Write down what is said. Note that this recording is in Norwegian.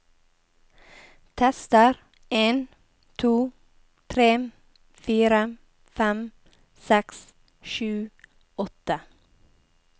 Tester en to tre fire fem seks sju åtte